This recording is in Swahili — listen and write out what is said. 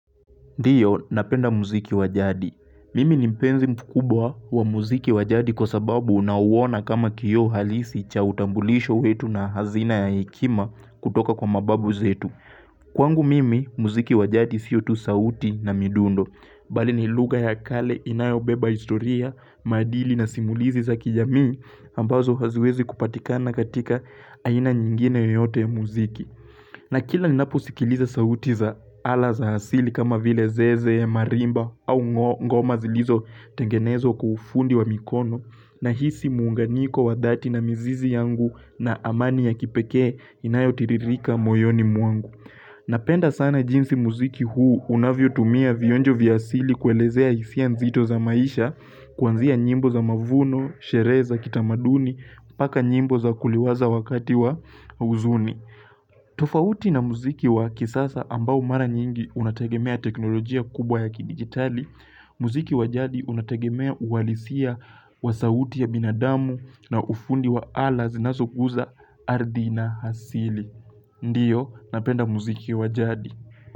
Ndiyo, napenda muziki wa jadi. Mimi ni mpenzi mkubwa wa muziki wa jadi kwa sababu nauona kama kioo halisi cha utambulisho wetu na hazina ya hekima kutoka kwa mababu zetu. Kwangu mimi, muziki wa jadi sio tu sauti na midundo. Bali ni lugha ya kale inayobeba historia, madili na simulizi za kijamii ambazo haziwezi kupatikana katika aina nyingine yoyote ya muziki. Na kila ninaposikiliza sauti za ala za asili kama vile zeze, marimba au ngoma zilizo tengenezwa ufundi wa mikono nahisi muunganiko wa dhati na mzizi yangu na amani ya kipekee inayotiririka moyoni mwangu. Napenda sana jinsi muziki huu unavyotumia vionjo vya asili kuelezea hisia nzito za maisha kwanzia nyimbo za mavuno, sherehe za, kitamaduni, mpaka nyimbo za kuliwaza wakati wa huzuni. Tofauti na muziki wa kisasa ambao mara nyingi unategemea teknolojia kubwa ya kidigitali, muziki wa jadi unategemea uhalisia wa sauti ya binadamu na ufundi wa ala zinasoguza ardhi na asili. Ndiyo, napenda muziki wajadi.